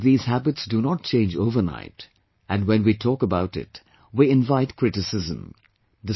I know that these habits do not change overnight, and when we talk about it, we invite criticism